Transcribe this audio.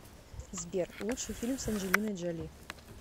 сбер лучший фильм с анджелиной джоли